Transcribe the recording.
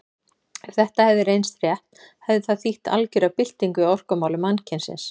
Ef þetta hefði reynst rétt hefði það þýtt algera byltingu í orkumálum mannkynsins.